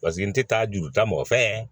Paseke n tɛ taa juruta mɔfɛ